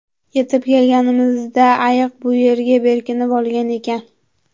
Yetib kelganimizda ayiq bu yerga berkinib olgan ekan.